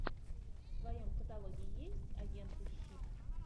в твоем каталоге есть агенты щит